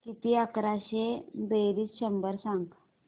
किती अकराशे बेरीज शंभर सांग